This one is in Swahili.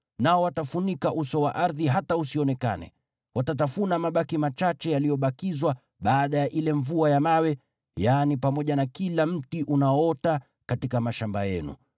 Nao watafunika uso wa ardhi hata usionekane. Watatafuna mabaki machache yaliyobakizwa baada ya ile mvua ya mawe, yaani pamoja na kila mti unaoota katika mashamba yenu.